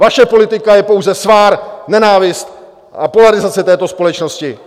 Vaše politika je pouze svár, nenávist a polarizace této společnosti!